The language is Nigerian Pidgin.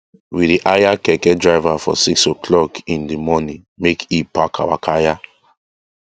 we dey hire keke driver for 6 oclock in d morning make e pack our kaya